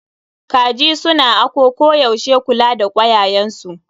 Kaji su na ako yaushe kula da kwayayen su.